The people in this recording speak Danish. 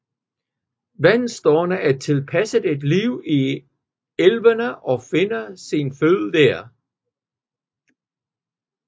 Vandstærene er tilpasset et liv i elve og finder sin føde der